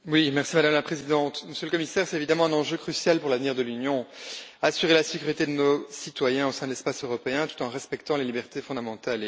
Madame la Présidente, Monsieur le Commissaire, c'est évidemment un enjeu crucial pour l'avenir de l'Union assurer la sécurité de nos citoyens au sein de l'espace européen tout en respectant les libertés fondamentales.